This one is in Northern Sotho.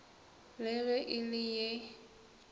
le ge e le ye